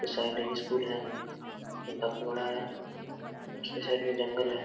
Side एक school है जो काफी बड़ा है उस के साइड मे जंगल है।